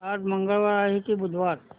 आज मंगळवार आहे की बुधवार